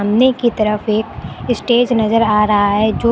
ने की तरफ एक स्टेज नजर आ रहा है जो--